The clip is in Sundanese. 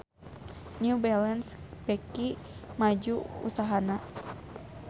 New Balance beuki maju usahana